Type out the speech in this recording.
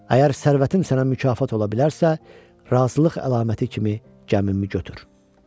Əgər sərvətim sənə mükafat ola bilərsə, razılıq əlaməti kimi gəmimi götür.